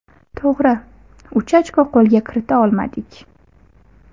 To‘g‘ri, uch ochko qo‘lga kirita olmadik.